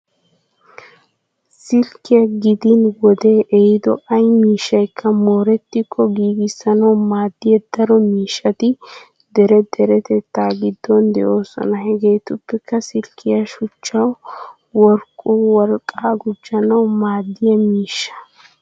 Silkkiya gidin wodee ehiido ay miishshaykka moorettikko giiggissanawu maaddiya daro miishshati dere deretettaa giddon de'oosona. Hageetuppe silkkiya shuchchawu wurkko wolqqaa gujjanawu maaddiya miishsha.